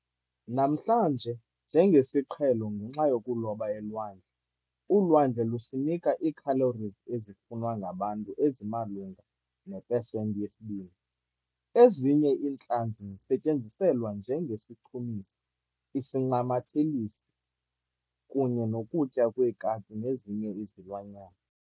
Namhlanje, njengesiqhelo ngenxa yokuloba elwandle, ulwandle lusinika ii-calories ezifunwa ngabantu ezimalunga nepesenti yesi-2. Ezinye iintlanzi zisetyenziselwa njenge sichumisi, isincamathelitsi, kunye nokutya kweekati nezinye izilwanyana.